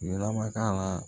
Lamaka la